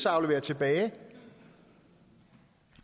aflevere tilbage